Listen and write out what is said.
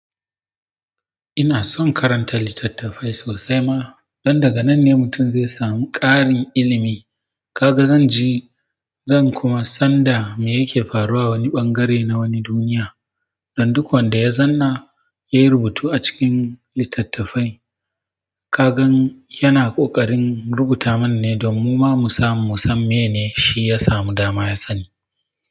Ina son karanta littattafai sosai ma, don daga nan ne mutum zai samu ƙarin ilimi. Kaga zan ji, zan kuma san da me yake faruwa wani ɓangare na wani duniya. Don duk wanda ya zanna, yayi rubutu a cikin littattafai. Ka gan yana ƙoƙarin rubuta mana ne domin muma mj samu mu san meye shi ya samu dama ya sani.